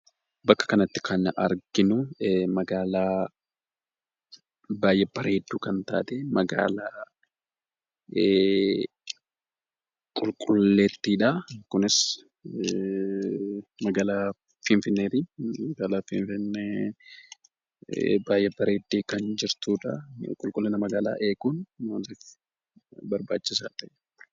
Bakka kanatti kan arginuu magaalaa baay'ee bareedduu kan taate magaalaa qulqulleettiidhaa. Kunis magaalaa Finfinneetii. Magaalaa Finfinnee baay'ee bareeddee kan jirtudhaa. Qulqullina magaalaa eeguun maalif barbaachisaa ta'e?